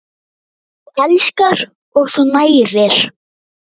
Þú elskar og þú nærir.